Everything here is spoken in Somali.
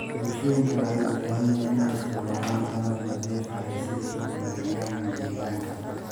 Bulshooyinka waxay u baahan yihiin inay isticmaalaan tamar nadiif ah si ay u ilaaliyaan deegaanka.